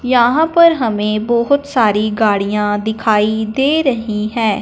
यहां पर हमें बहोत सारी गाड़ियां दिखाई दे रही हैं।